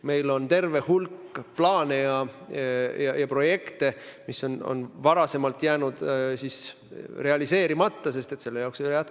Meil on terve hulk plaane ja projekte, mis on varem jäänud realiseerimata, sest ei ole jätkunud vahendeid.